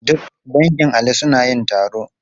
Duk dangin Ali suna yin taro.